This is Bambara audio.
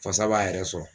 Fasa b'a yɛrɛ sɔrɔ